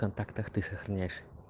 в контактах ты сохраняешь